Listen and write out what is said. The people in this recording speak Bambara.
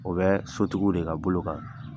O bɛ sotigiw de ka bolo kan.